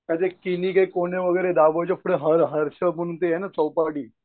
आज एक किणी कायक कोणे वगैरे दाबो जोपर हर हर आहे ना ती चोपाटी